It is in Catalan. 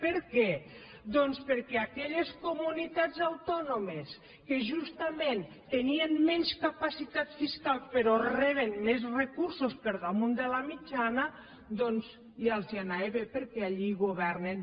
per què doncs perquè a aquelles comunitats autònomes que justament tenien menys capacitat fiscal però reben més recursos per damunt de la mitjana doncs ja els anava bé perquè allí governen